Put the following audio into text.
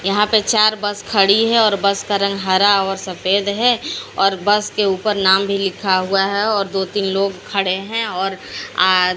यहां पे चार बस खड़ी है और बस का रंग हरा और सफेद हैं और बस के ऊपर नाम भी लिखा हुआ है और दो तीन लोग खड़े हैं और आ--